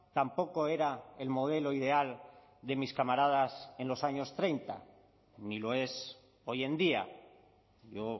tampoco era el modelo ideal de mis camaradas en los años treinta ni lo es hoy en día yo